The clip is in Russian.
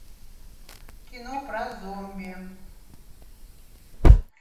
кино про зомби